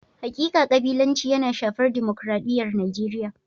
Hakika kabilanci yana shafar dimokradiyyar Najeriya.